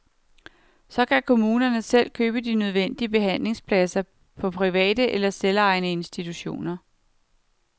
Så kan kommunerne selv købe de nødvendige behandlingspladser på private eller selvejende institutioner.